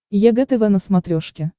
егэ тв на смотрешке